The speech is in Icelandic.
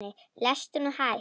Lestu nú hægt!